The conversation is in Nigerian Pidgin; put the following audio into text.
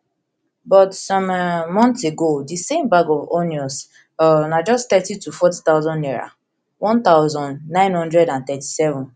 but some um months ago di same bag of onions um na just thirty to forty thousand naira one thousand, nine hundred and thirty-seven